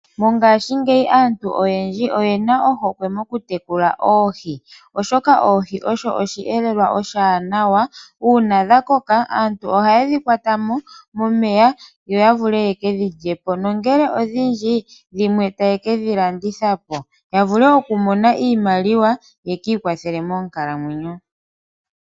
Mongashiingeyi aantu oyendji oye na ohokwe moku tekula oohi oshoka oohi osho oshiyelelwa oshiwanawa uuna dha koka aantu ohaye dhi kwata mo momeya yo ya vule ye kedhi lye po nongele odhindji dhimwe taye kedhi landitha po ya vule okumona iimaliwa yaka ikwathele monkalamwenyo.